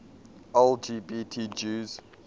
lgbt jews